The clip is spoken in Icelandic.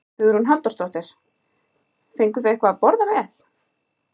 Hugrún Halldórsdóttir: Fenguð þið eitthvað að borða með?